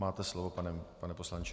Máte slovo, pane poslanče.